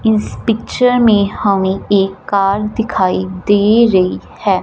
इस पिक्चर में हमें एक कार दिखाई दे रही है।